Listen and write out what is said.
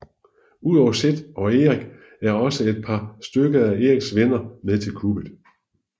Udover Zed og Eric er også et par stykker af Erics venner med til kuppet